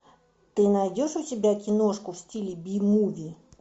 ты найдешь у себя киношку в стиле би муви